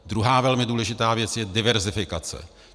Druhá velmi důležitá věc je diverzifikace.